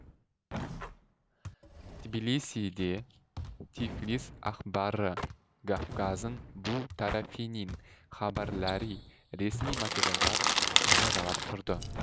тбилисиде тифлис әхбары гафгазын бу тәрәфинин хәбәрләри ресми материалдар жариялап тұрды